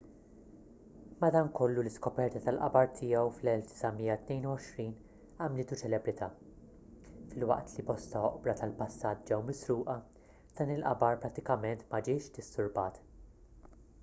madankollu l-iskoperta tal-qabar tiegħu fl-1922 għamlitu ċelebrità filwaqt li bosta oqbra tal-passat ġew misruqa dan il-qabar prattikament ma ġiex disturbat